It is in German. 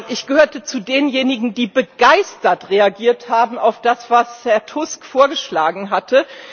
Ich gehörte zu denjenigen, die begeistert reagiert haben auf das, was Herr Tusk vorgeschlagen hatte.